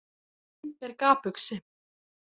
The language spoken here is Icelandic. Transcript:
Hún er gapuxi.